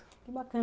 Que bacana.